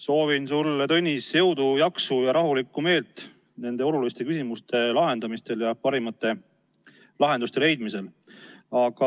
Soovin sulle, Tõnis, jõudu-jaksu ja rahulikku meelt nende oluliste küsimuste lahendamisel ja parimate lahenduste leidmisel.